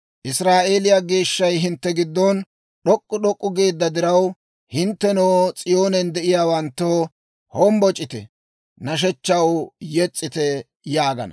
Israa'eeliyaa Geeshshay hintte giddon d'ok'k'u d'ok'k'u geedda diraw, hinttenoo, S'iyoonen de'iyaawanttoo, hombboc'ite! nashshechchaw yes's'ite!» yaagana.